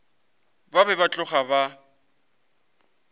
ba be ba tloga ba